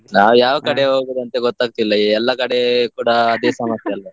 ನಾವು ಯಾವ ಕಡೆ ಹೋಗುದು ಅಂತ ಗೊತ್ತಾಗ್ತಿಲ್ಲ, ಈಗ ಎಲ್ಲಾ ಕಡೆ ಕೂಡ ಅದೇ ಸಮಸ್ಯೆ ಅಲ್ಲ.